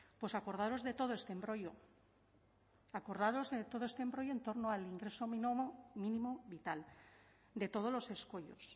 pues acordarnos de todo este embrollo acordados de todo este embrollo en torno al ingreso mínimo vital de todos los escollos